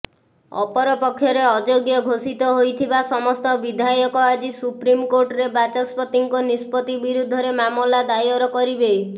ଅପରପକ୍ଷରେ ଅଯୋଗ୍ୟ ଘୋଷିତ ହୋଇଥିବା ସମସ୍ତ ବିଧାୟକ ଆଜି ସୁପ୍ରିମ୍କୋର୍ଟରେ ବାଚସ୍ପତିଙ୍କ ନିଷ୍ପତ୍ତି ବିରୁଦ୍ଧରେ ମାମଲା ଦାୟର କରିବେ